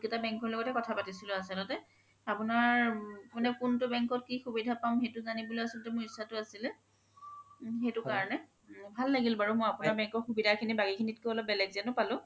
bank ৰ লগতে কথা পাতিছিলো আচল্তে আপোনাৰ কুন্তু bank ত কি সুবিধা পাম সেইতো জানিবলে আচলতে মোৰ ইচ্ছাতো আছিলে সেইতো কাৰণে ভাল লাগিল বাৰু মই আপোনাৰ bank ৰ সুবিধা খিনি বাকি খিনিত কে অলপ বেলেগ যেনও পালো